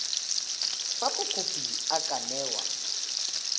fa mokopi a ka newa